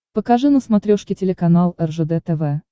покажи на смотрешке телеканал ржд тв